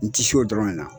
N ti se o dɔrɔn de na